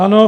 Ano.